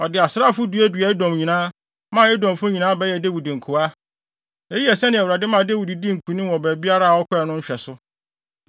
Ɔde asraafo duaduaa Edom nyinaa, maa Edomfo nyinaa bɛyɛɛ Dawid nkoa. Eyi yɛ sɛnea Awurade maa Dawid dii nkonim wɔ baabiara a ɔkɔe no nhwɛso.